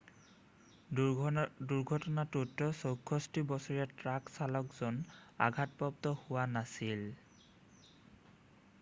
দুৰ্ঘটনাটোত 64 বছৰীয়া ট্ৰাক চালকজন আঘাতপ্ৰাপ্ত হোৱা নাছিল